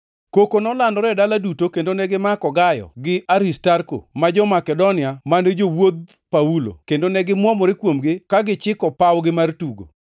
Koko nolandore e dala duto kendo negimako Gayo gi Aristarko ma jo-Makedonia mane jowuodh Paulo kendo ne gimwomore kuomgi ka gichiko pawgi mar tugo.